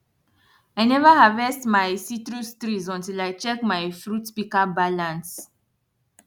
i neva harvest my citrus trees until i check my fruit pika balance